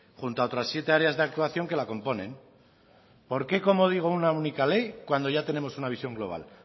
junto a otras siete áreas de actuación que la componen por qué como digo una única ley cuando ya tenemos una visión global